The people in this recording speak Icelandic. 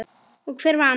Og hver vann?